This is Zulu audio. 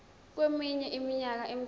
kweminye iminyaka emithathu